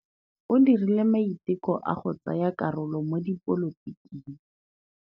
O dirile maitekô a go tsaya karolo mo dipolotiking.